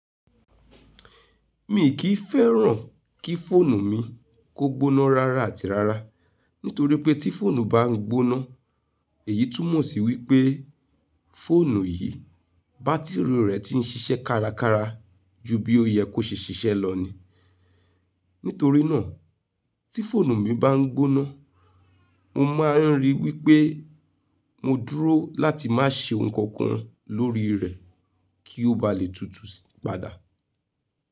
Mi kì fẹ́ràn kí fóònù mi kó gbóná rara àti rara, nítorí pé tí fóònù bá ń gbóná, èyí tún mọ̀ sí wípé fóònù yìí, bátìrì rẹ̀ ti ń ṣiṣẹ́ kárakára ju bí ó yẹ kó ṣe ṣiṣẹ́ lọ ni. Nítorí náà, tí fóònù mi bá ń gbóná, mo máa ń ríi wípé mo dúró láti má ṣe ohun kankan lórí rẹ̀ kí ó ba lè tutù padà.